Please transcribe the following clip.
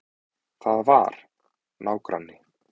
Það var. nágranni.